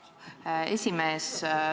Aitäh, hea esimees!